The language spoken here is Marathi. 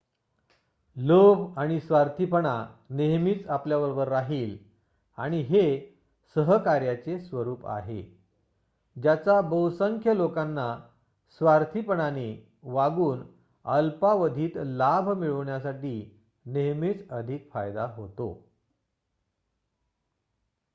लोभ आणि स्वार्थीपणा नेहमीच आपल्याबरोबर राहील आणि हे सहकार्याचे स्वरूप आहे ज्याचा बहुसंख्य लोकांना स्वार्थीपणाने वागून अल्पावधीत लाभ मिळवण्यासाठी नेहमीच अधिक फायदा होतो